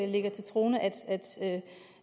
lægger til grund